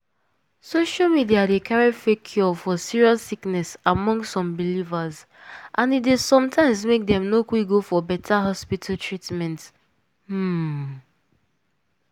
social media dey carry fake cure for serious sickness among some believers and e dey sometimes make dem no quick go for beta hospital treatment. um